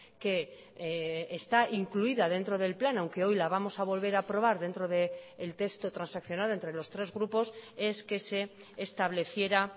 que está incluida dentro del plan aunque hoy la vamos a volver a aprobar dentro del texto transaccionado entre los tres grupos es que se estableciera